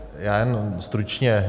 Já jenom stručně.